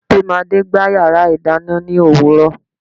tamade gba iyarà idanna ni owùro yìí